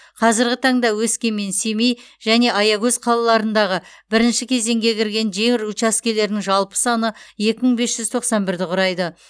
қазірғі таңда өскемен семей және аягөз қалаларындағы бірінші кезеңге кірген жер учаскелерінің жалпы саны екі мың бес жүз тоқсан бірді құрайды